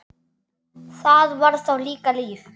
Það var þá líka líf!